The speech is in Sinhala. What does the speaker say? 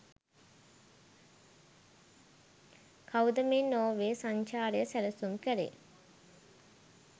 කවුද මේ නෝර්වේ සංචරය සැලසුම් කලේ?